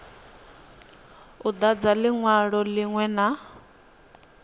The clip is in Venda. u dadza linwalo linwe na